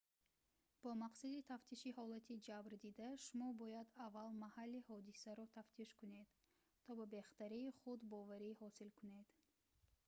бо мақсади тафтиши ҳолати ҷабрдида шумо бояд аввал маҳалли ҳодисаро тафтиш кунед то ба бехатарии худ боварӣ ҳосил кунед